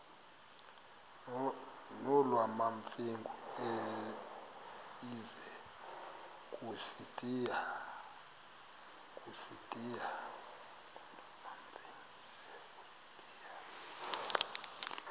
nolwamamfengu ize kusitiya